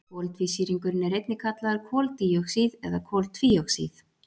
Koltvísýringurinn er einnig kallaður koldíoxíð eða koltvíoxíð.